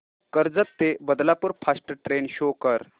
कर्जत ते Badlapur fast train show कर